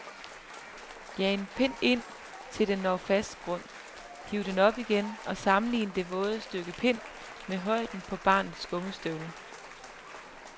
Jag en pind i, til den når fast grund, hiv den op igen og sammenlign så det våde stykke pind med højden på barnets gummistøvler.